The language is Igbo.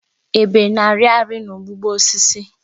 Ebe na-arị arị n'ụgbụgbọ osisi.